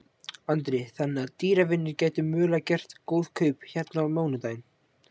Andri: Þannig að dýravinir gætu mögulega gert góð kaup hérna á mánudaginn?